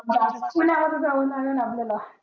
पुन्या मध्ये जावा लागलं आपल्याला